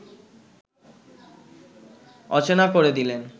অচেনা করে দিলেন